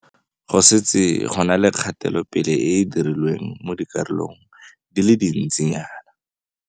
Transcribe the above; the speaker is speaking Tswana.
Go setse go na le kgatelopele e e dirilweng mo dikarolong di le dintsinyana.